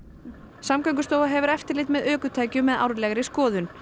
Samgöngustofa hefur eftirlit með ökutækjum með árlegri skoðun